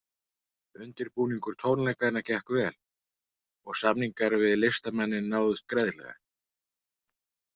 Undirbúningur tónleikanna gekk vel og samningar við listamanninn náðust greiðlega.